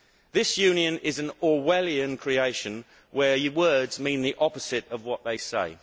This Union is an Orwellian creation where words mean the opposite of what is said.